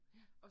Ja